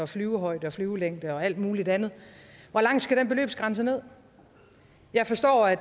flyvehøjde og flyvelængde og alt muligt andet hvor langt skal den beløbsgrænse ned jeg forstår at